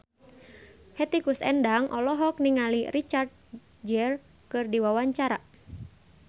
Hetty Koes Endang olohok ningali Richard Gere keur diwawancara